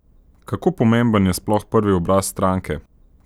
Kako pomemben je sploh prvi obraz stranke?